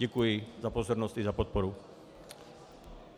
Děkuji za pozornost i za podporu.